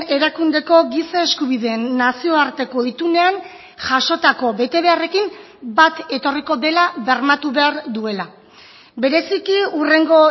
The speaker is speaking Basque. erakundeko giza eskubideen nazioarteko itunean jasotako betebeharrekin bat etorriko dela bermatu behar duela bereziki hurrengo